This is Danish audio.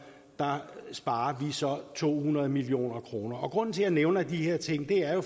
sparer vi så to hundrede million kroner grunden til jeg nævner de her ting er jo